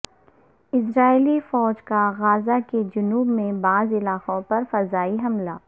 اسرائیلی فوج کا غزہ کے جنوب میں بعض علاقوں پر فضائی حملہ